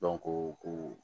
ko ko